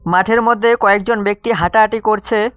মাঠের মধ্যে কয়েকজন ব্যক্তি হাঁটাহাঁটি করছে।